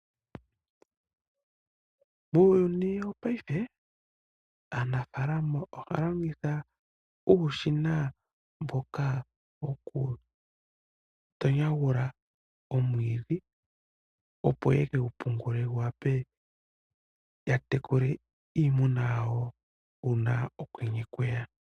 Muuyuni wopaife aanafaalama oha ya longitha uushina mboka woku tonyagula omwiidhi, opo ye ke gu pungule gu wape ya tekula iimuna yawo uuna okwenye kweya.